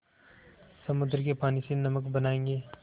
समुद्र के पानी से नमक बनायेंगे